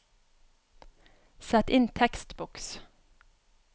Sett inn tekstboks